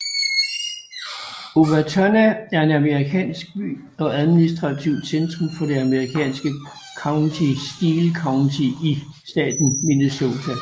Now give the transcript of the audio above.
Owatonna er en amerikansk by og administrativt centrum for det amerikanske county Steele County i staten Minnesota